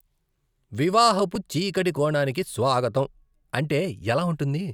"వివాహపు చీకటి కోణానికి స్వాగతం" అంటే ఎలా ఉంటుంది